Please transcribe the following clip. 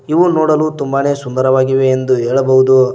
ಇವು ನೋಡಲು ತುಂಬಾನೇ ಸುಂದರವಾಗಿವೆ ಎಂದು ಹೇಳಬಹುದು.